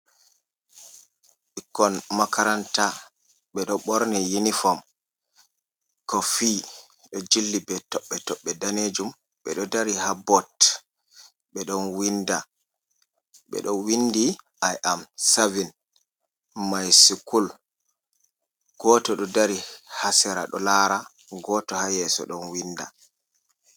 Ɓikkon makaranta, ɓeɗo ɓorni yunifom kofi ɗo jilli be toɓɓe toɓɓe danejum, ɓeɗo dari haboot ɓeɗo windi i am savin maisukul, goto ɗo dari hasera ɗo lara, goto ha yeso ɗon winda.